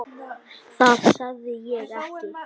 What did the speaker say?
Það sagði ég ekki.